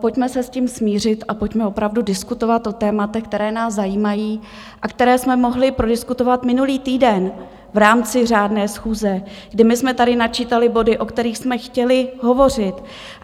Pojďme se s tím smířit a pojďme opravdu diskutovat o tématech, která nás zajímají a která jsme mohli prodiskutovat minulý týden v rámci řádné schůze, kdy my jsme tady načítali body, o kterých jsme chtěli hovořit.